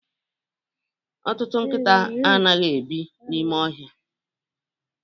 Ọtụtụ nkịta anaghị ebi n'ime ọhịa